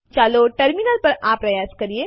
ચાલો ટર્મિનલ પર આ પ્રયાસ કરીએ